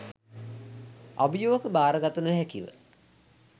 අභියෝග බාරගත නොහැකිව